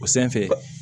O sanfɛ